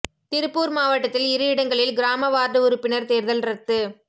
திருப்பூா் மாவட்டத்தில் இரு இடங்களில் கிராம வாா்டு உறுப்பினா் தோ்தல் ரத்து